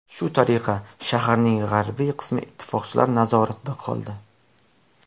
Shu tariqa shaharning g‘arbiy qismi ittifoqchilar nazoratida qoldi.